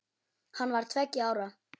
Hann var tveggja ára.